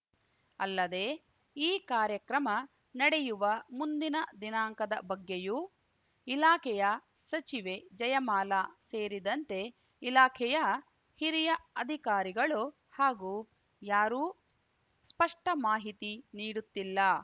ಅಲ್ಲದೆ ಈ ಕಾರ್ಯಕ್ರಮ ನಡೆಯುವ ಮುಂದಿನ ದಿನಾಂಕದ ಬಗ್ಗೆಯೂ ಇಲಾಖೆಯ ಸಚಿವೆ ಜಯಮಾಲ ಸೇರಿದಂತೆ ಇಲಾಖೆಯ ಹಿರಿಯ ಅಧಿಕಾರಿಗಳು ಹಾಗೂ ಯಾರೂ ಸ್ಪಷ್ಟಮಾಹಿತಿ ನೀಡುತ್ತಿಲ್ಲ